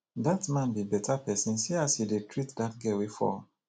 dat man be beta person see as he dey treat dat girl wey fall